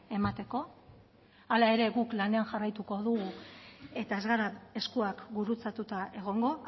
emateko hala ere guk lanean jarraituko dugu eta ez gara eskuak gurutzatuta egongo